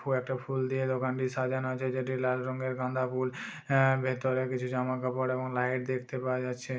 কয়েকটা ফুল দিয়ে দোকানটি সাজানো হয়েছে যেটি লাল রঙের গাঁদা ফুল আ ভেতরে কিছু জামা কাপড় এবং লাইট দেখতে পাওয়া যাচ্ছে।